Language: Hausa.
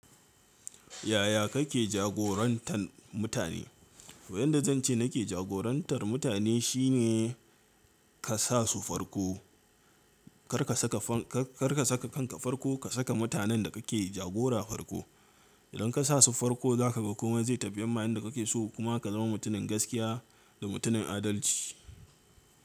Yaya kake jagorantar mutane? Wayanda zan ce nake jagorantar mutane shine ka sa su farko. Kar ka saka kanka farko, ka saka mutanen da kake jagora farko. Idan ka sa su farko, za ka ga komai zai tafiyarma yanda kake so kuma ka zama mutumin gaskiya da mutumin adalci.